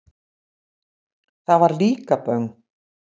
Það var Líkaböng.